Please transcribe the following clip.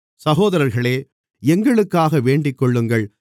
சகோதரர்களே எங்களுக்காக வேண்டிக்கொள்ளுங்கள்